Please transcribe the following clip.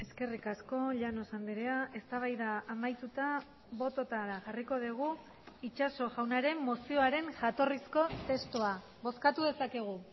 eskerrik asko llanos andrea eztabaida amaituta bototara jarriko dugu itxaso jaunaren mozioaren jatorrizko testua bozkatu dezakegu